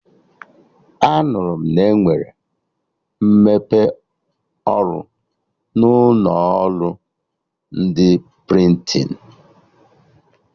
Anụrụ m na-enwere mmepe ọrụ n'ụlọ ọrụ ndị prịntịn